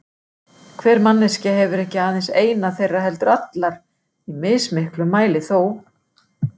Hver manneskja hefur ekki aðeins eina þeirra heldur allar, í mismiklum mæli þó.